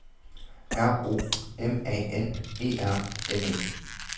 R O M A N E R N E